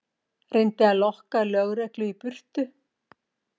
Reyndi að lokka lögreglu í burtu